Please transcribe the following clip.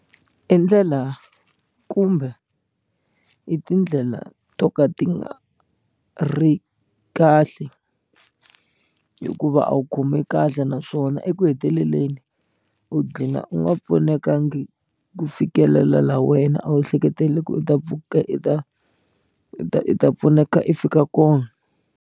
I ndlela kumbe i tindlela to ka ti nga ri kahle hikuva a wu khomi kahle naswona eku heteleleni u dlina u nga pfunekangi ku fikelela laha wena a wu ehleketelele ku u ta pfuka u ta u ta u ta pfuneka i fika kona.